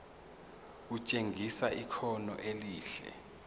kutshengisa ikhono elihle